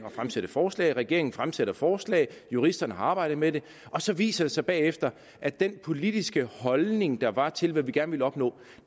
at fremsætte forslag regeringen fremsætter forslag juristerne arbejder med det og så viser det sig bagefter at den politiske holdning der var til hvad vi gerne ville opnå